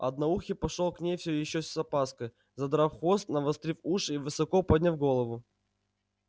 одноухий пошёл к ней всё ещё с опаской задрав хвост навострив уши и высоко подняв голову